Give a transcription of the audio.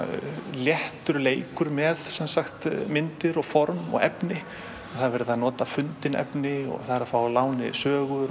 léttur leikur með myndir og form og efni það er verið að nota fundið efni fá að láni sögur